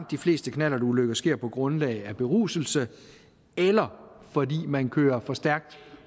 de fleste knallertulykker sker på grund af beruselse eller fordi man kører for stærkt